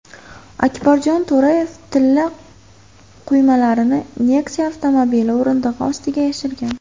Akbarjon To‘rayev tilla quymalarni Nexia avtomobili o‘rindig‘i ostiga yashirgan.